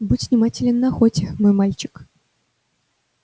будь внимателен на охоте мой мальчик